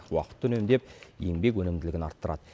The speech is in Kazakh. уақытты үнемдеп еңбек өнімділігін арттырады